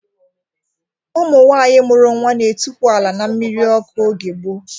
Ụmụ nwaanyị mụrụ nwa n'etukwu ala n'mmiri ọkụ oge gboo